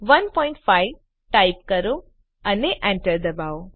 15 type કરો અને Enter દબાવો